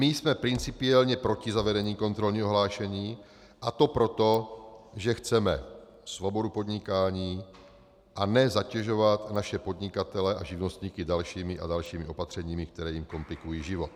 My jsme principiálně proti zavedení kontrolního hlášení, a to proto, že chceme svobodu podnikání, a ne zatěžovat naše podnikatele a živnostníky dalšími a dalšími opatřeními, která jim komplikují život.